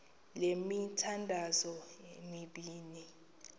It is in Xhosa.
le mithandazo mibini